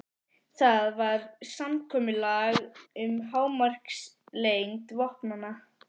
Það var samkomulag um hámarkslengd vopnanna.